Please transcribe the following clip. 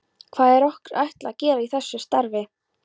Hvað er okkur ætlað að gera í þessu starfi?